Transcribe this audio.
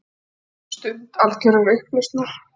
Stund algjörrar upplausnar.